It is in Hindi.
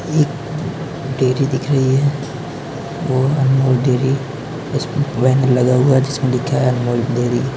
एक डेयरी दिख रही है वो अनमोल डेयरी जिसपे लगा हुआ है जिसमे लिखा है अनमोल डेयरी।